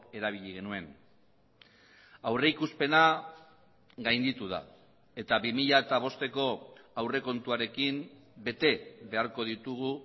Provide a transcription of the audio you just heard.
erabili genuen aurrikuspena gainditu da eta bi mila bosteko aurrekontuarekin bete beharko ditugu